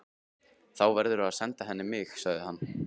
Þá verðurðu að senda henni mig, sagði hann.